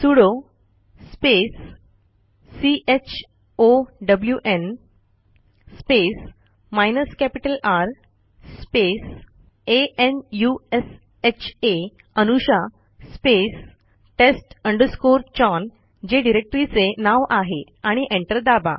sudo space chown space minus capital R space a n u s h आ Anusha spacetest chown जे डिरेक्टरीचे नाव आहे आणि एंटर दाबा